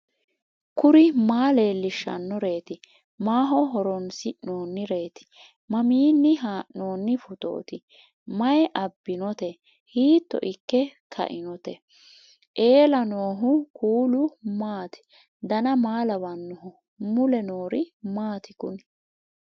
kuri maa leellishannoreeti maaho horoonsi'noonnireeti mamiinni haa'noonni phootooti mayi abbinoote hiito ikke kainote ellannohu kuulu maati dan maa lawannoho mule noori maati kuni